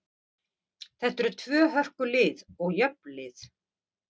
Þetta eru tvö hörku lið og jöfn lið.